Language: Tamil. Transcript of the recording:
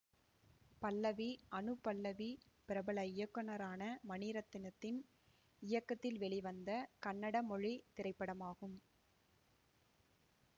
பல்லவி அனுபல்லவி பிரபல இயக்குனரான மணிரத்தினத்தின் இயக்கத்தில் வெளிவந்த கன்னட மொழி திரைப்படமாகும்